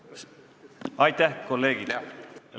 Aitäh, kolleegid!